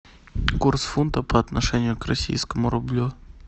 курс фунта по отношению к российскому рублю